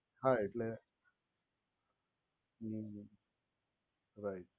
હા એટલે હમ્મ હમ્મ રાઇટ